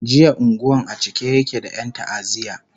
jiya unguwan a cike yake da Yan ta'aziya